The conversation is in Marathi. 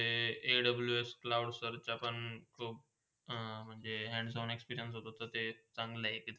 तिथ AWS cloud सरख्या पण खूप म्हणजे Hands on experience होते ते चांगले इथे.